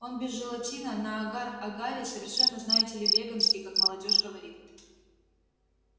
он без желатина на агар-агаре совершенно знаете ли веганский как молодёжь говорит